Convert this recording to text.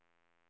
hem